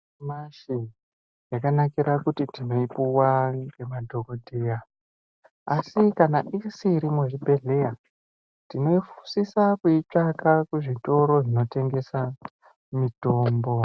Yanyamashi, zvakanakira kuti tinoipuwa ngemadhokodheya ,asi kana isiri muzvibhedhleya tinosisa kuitsvaka kuzvitoro zvinotengesa mitombo.